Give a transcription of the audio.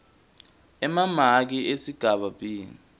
emamaki esigaba b